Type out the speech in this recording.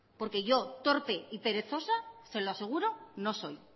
porque yo torpe y perezosa se lo aseguro no soy